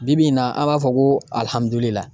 Bi bi in na an b'a fɔ ko